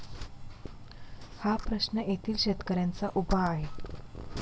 हा प्रश्न येथील शेतकऱ्यांचा उभा आहे.